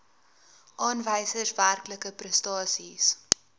aanwysers werklike prestasies